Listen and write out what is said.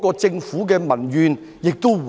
這樣亦可減低對政府的民怨。